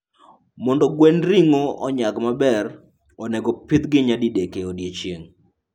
Mondo gwend ring'o onyag maber, onego opidhgi nyadidek e odiechieng'.